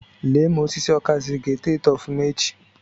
Lee ma osisi okazi ga-eto eto ofuma echi.